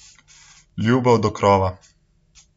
Ljubav do krova!